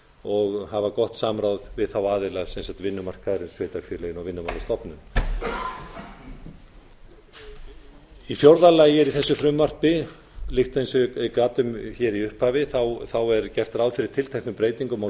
og hafa gott samráð við aðila vinnumarkaðarins sveitarfélögin og vinnumálastofnun í fjórða lagi er í þessu frumvarpi líkt og ég gat um hér í upphafi gert ráð fyrir tilteknum breytingum á